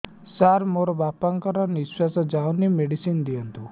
ସାର ମୋର ବାପା ଙ୍କର ନିଃଶ୍ବାସ ଯାଉନି ମେଡିସିନ ଦିଅନ୍ତୁ